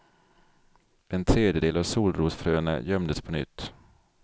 En tredjedel av solrosfröna gömdes på nytt.